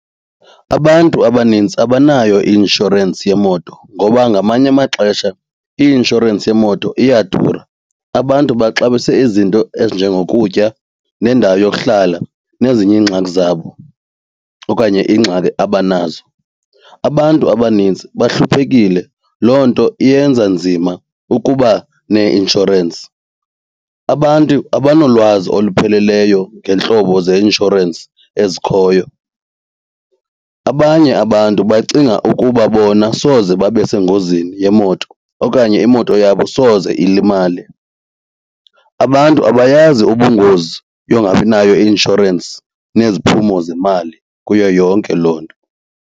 Abantu abanintsi abanayo i-inshorensi yemoto ngoba ngamanye amaxesha i-inshorensi yemoto iyadura. Abantu baxabise izinto ezinjengokutya nendawo yokuhlala nezinye iingxaki zabo okanye ingxaki abanazo. Abantu abanintsi bahluphekile. Loo nto iyenza nzima ukuba neinshorensi. Abantu abanolwazi olupheleleyo ngeentlobo zeinshorensi ezikhoyo. Abanye abantu bacinga ukuba bona soze babe sengozini yemoto okanye imoto yabo soze ilimale. Abantu abayazi ubungozi yongabinayo i-inshorensi neziphumo zemali kuyo yonke loo nto.